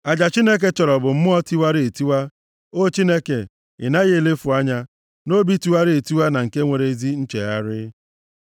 Aja Chineke chọrọ bụ mmụọ tiwara etiwa, O Chineke, ị naghị elefu anya, nʼobi tiwara etiwa na nke nwere ezi nchegharị.